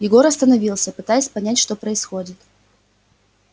егор остановился пытаясь понять что происходит